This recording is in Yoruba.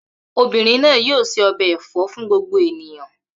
Obìnrin náà yóò se ọbẹ̀ ẹ̀fọ́ fún gbogbo ènìyàn.